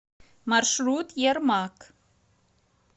маршрут ермак